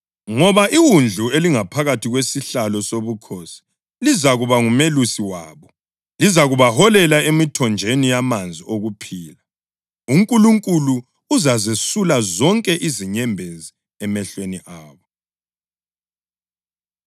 Ngoba iWundlu elingaphakathi kwesihlalo sobukhosi lizakuba ngumelusi wabo; lizabaholela emithonjeni yamanzi okuphila. ‘UNkulunkulu uzazesula zonke inyembezi emehlweni abo.’ + 7.17 U-Isaya 49.10” + 7.17 U-Isaya 25.8